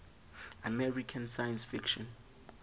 american science fiction